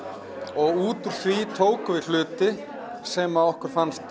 og út úr því tókum við hluti sem okkur fannst